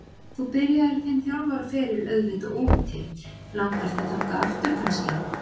Þú byrjaðir þinn þjálfaraferil auðvitað úti, langar þig þangað aftur kannski?